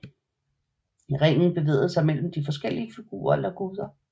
Ringen bevægede sig mellem de forskellige figurer eller guder